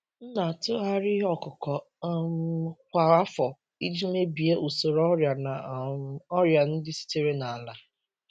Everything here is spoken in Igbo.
M na-atụgharị ihe ọkụkụ um kwa afọ iji mebie usoro ọrịa na um ọrịa ndị sitere na ala.